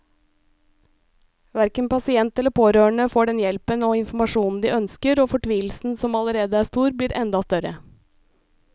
Hverken pasient eller pårørende får den hjelpen og informasjonen de ønsker, og fortvilelsen som allerede er stor, blir enda større.